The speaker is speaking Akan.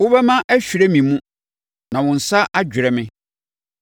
Wo bɛmma ahwire me mu, na wo nsa adwerɛ me.